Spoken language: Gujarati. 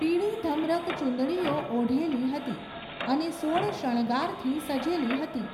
પીળી ધમરક ચૂંદડીઓ ઓઢેલી હતી, અને સોળ શણગારથી સજેલી હતી.